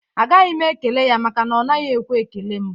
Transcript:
Agaghị m ekele ya maka na ọ naghị ekwe ekele m